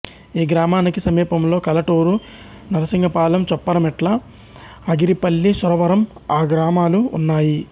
ఈ గ్రామానికి సమీపంలో కలటూరు నరసింగపాలెం చొప్పరమెట్ల ఆగిరిపల్లి సురవరం గ్రామాలు ఉన్నాయి